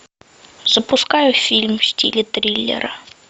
запускай фильм в стиле триллера